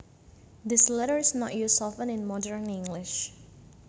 This letter is not used often in modern English